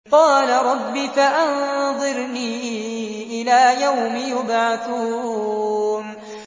قَالَ رَبِّ فَأَنظِرْنِي إِلَىٰ يَوْمِ يُبْعَثُونَ